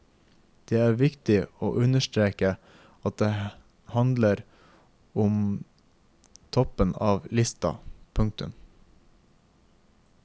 Det er viktig å understreke at her handler det om toppen av lista. punktum